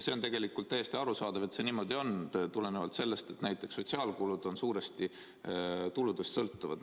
See on tegelikult täiesti arusaadav, et see niimoodi on, tulenevalt sellest, et näiteks sotsiaalkulud on suuresti tuludest sõltuvad.